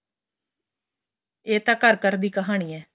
ਏਹ ਤਾਂ ਘਰ ਘਰ ਦੀ ਕਹਾਣੀ ਏ